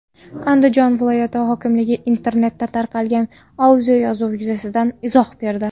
Andijon viloyati hokimligi internetda tarqalgan audioyozuv yuzasidan izoh berdi.